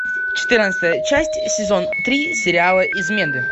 четырнадцатая часть сезон три сериала измены